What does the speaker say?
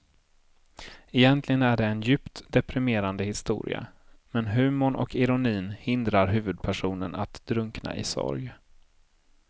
Egentligen är det en djupt deprimerande historia men humorn och ironin hindrar huvudpersonen att drunkna i sorg.